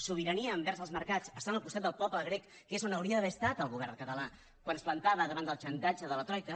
sobirania envers els mercats estan al costat del poble grec que és on hauria d’haver estat el govern català quan es plantava davant del xantatge de la troica